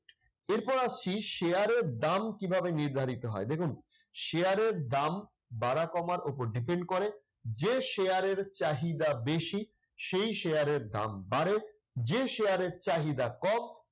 এরপরে আসছি share এর দাম কিভাবে নির্ধারিত হয়? দেখুন share এর দাম বাড়া-কমার উপর depend করে। যে share চাহিদা বেশি সেই share এর দাম বাড়ে। যে share এর চাহিদা কম